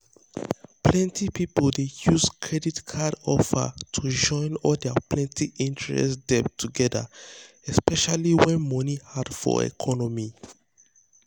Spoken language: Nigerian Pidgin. plenty people dey use credit um card offers to join all their plenty-interest debt together especially um when money um hard for economy.